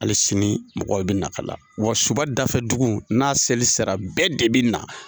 Hali sini mɔgɔ bɛ na ka la wa suba dafɛ dugu n'a seli sera bɛɛ de bɛ na.